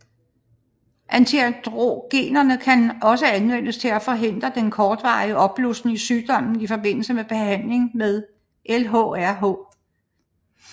Antiandrogenerne kan også anvendes til at forhindre den kortvarige opblussen i sygdommen i forbindelse med behandling med LHRH